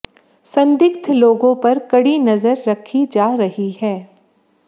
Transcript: संदिग्ध लोगों पर कड़ी नजर रखी जा रही है